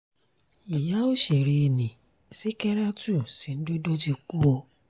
ìyá òṣèré nni ṣìkẹ̀ràtù sìǹdodo ti kú o